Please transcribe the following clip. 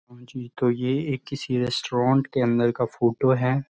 ये एक किसी रेस्टोरेंट के अंदर का फोटो है।